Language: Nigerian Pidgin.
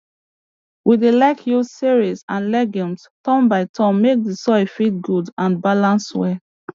we dey like use cereals and legumes turn by turn make d soil fit good and balance well